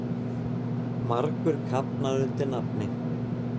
Margur kafnar undir nafni.